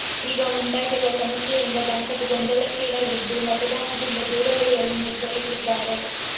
ಈಗ ಉಂಟಾಗಿರುವ ಸಮಸ್ಯೆಯಿಂದ ದಂಪತಿ ಗೊಂದಲಕ್ಕೀಡಾಗಿದ್ದು ಮತದಾನದಿಂದು ದೂರ ಉಳಿಯಲು ನಿರ್ಧರಿಸಿದ್ದಾರೆ